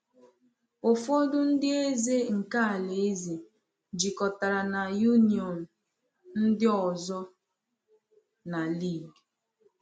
Ụfọdụ ndị eze nke alaeze jikọtara na Union, ndị ọzọ na League.